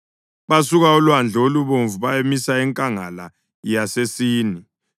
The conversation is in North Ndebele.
Basuka oLwandle oluBomvu bayamisa enkangala yaseSini.